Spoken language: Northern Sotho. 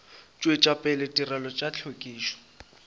tšwetša pele ditirelo tša hlwekišo